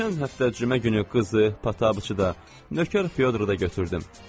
Keçən həftə cümə günü qızı, pataçı da, nökər Fyodr da götürdüm.